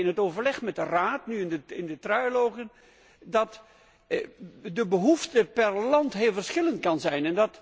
Wij merken in het overleg met de Raad, nu in de trialogen, dat de behoefte per land heel verschillend kan zijn.